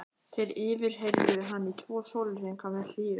Þeir yfirheyrðu hann í tvo sólarhringa með hléum.